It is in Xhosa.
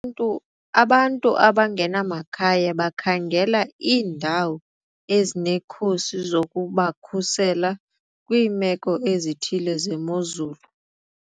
Ntu abantu abangenamakhaya bakhangela iindawo ezinekhusi zokubakhusela kwiimeko ezithile zemozulu.